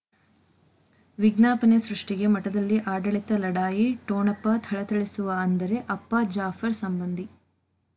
ವಿಜ್ಞಾಪನೆ ಸೃಷ್ಟಿಗೆ ಮಠದಲ್ಲಿ ಆಡಳಿತ ಲಢಾಯಿ ಠೊಣಪ ಥಳಥಳಿಸುವ ಅಂದರೆ ಅಪ್ಪ ಜಾಫರ್ ಸಂಬಂಧಿ